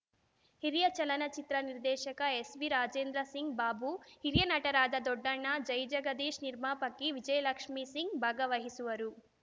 ಹಿರಿಯ ಚಲನಚಿತ್ರ ನಿರ್ದೇಶಕ ಎಸ್‌ವಿರಾಜೇಂದ್ರ ಸಿಂಗ್‌ ಬಾಬು ಹಿರಿಯ ನಟರಾದ ದೊಡ್ಡಣ್ಣ ಜೈಜಗದೀಶ್‌ ನಿರ್ಮಾಪಕಿ ವಿಜಯಲಕ್ಷ್ಮೀ ಸಿಂಗ್‌ ಭಾಗವಹಿಸುವರು